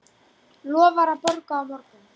Lofar að borga á morgun.